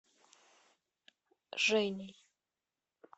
женей